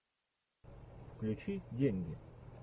включи деньги